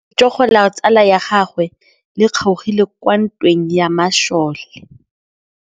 Letsôgô la tsala ya gagwe le kgaogile kwa ntweng ya masole.